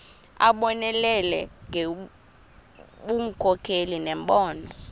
abonelele ngobunkokheli nembono